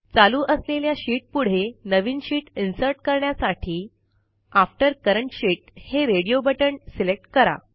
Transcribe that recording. चालू असलेल्या शीट पुढे नवीन शीट इन्सर्ट करण्यासाठी आफ्टर करंट शीत हे रेडिओ बटण सिलेक्ट करा